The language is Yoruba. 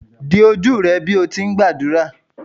di oju rẹ bi o ti ngbadura!